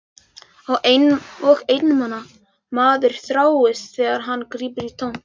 Og einmana maður þjáist þegar hann grípur í tómt.